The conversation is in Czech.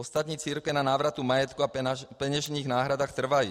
Ostatní církve na návratu majetku a peněžních náhradách trvají.